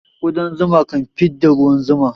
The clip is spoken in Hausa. Kudan zuma ka fidda ruwan zuma